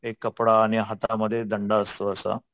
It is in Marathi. एक कपडा आणि हाता मध्ये एक दंडा असतो असा.